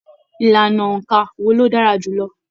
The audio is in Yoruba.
Ìlànà óńka wò ló dára jùlọ?